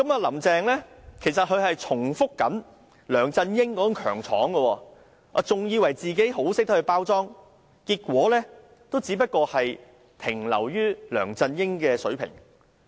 "林鄭"現正重複梁振英的強闖做法，還以為自己很懂得包裝，結果還不是只能達到梁振英的水平。